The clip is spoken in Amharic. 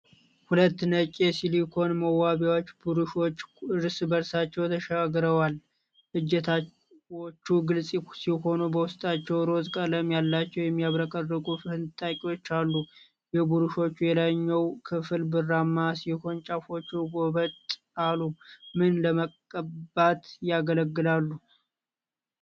ሁለት ነጭ የሲሊኮን መዋቢያ ብሩሾች እርስ በእርሳቸው ተሻግረዋል። እጀታዎቹ ግልጽ ሲሆኑ በውስጣቸው ሮዝ ቀለም ያላቸው የሚያብረቀርቁ ፍንጣቂዎች አሉ። የብሩሾቹ የላይኛው ክፍል ብርማ ሲሆን ጫፎቹ ጎበጥ አሉ። ምን ለመቀባት ያገለግላሉ?